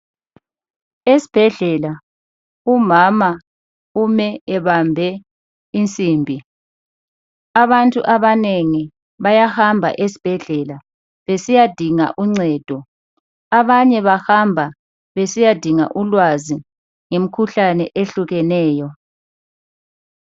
Esibhedlela umama ume ebambe insimbi. Abantu abanengi bayahamba esibhedlela besiyadinga uncedo. Abanye bahamba besiyadinga ulwazi ngemkhuhlane ehlukeneyo.